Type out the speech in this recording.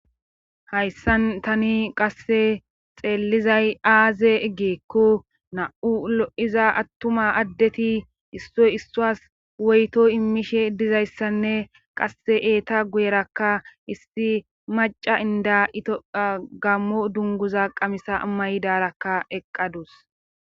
hayssan tani qasse xeellizay aaze eggeekko na7u lo7iza attuma addeti issoy issuwas woyto immishe dizayssanne qasse eeta guyerakka issi maca inda itophia gammo dunguza qamisa amayidarakka eqqadus